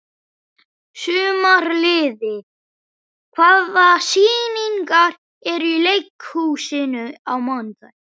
Sumarliði, hvaða sýningar eru í leikhúsinu á mánudaginn?